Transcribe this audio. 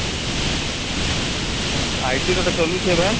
IT ର ଗୋଟେ ଚାଲୁଛି ଏବେ